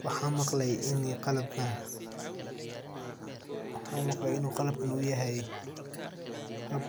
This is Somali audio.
Waxaan maqle in qalabkan uu yahay hab